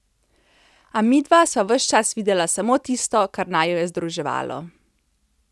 A midva sva ves čas videla samo tisto, kar naju je združevalo.